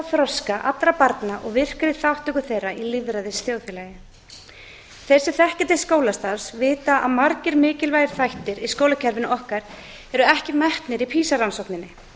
þroska allra barna og virkri þátttöku þeirra í lýðræðisþjóðfélagi þeir sem þekkja til skólastarfs vita að margir mikilvægir þættir í skólakerfinu okkar eru ekki metnir í pisa rannsókninni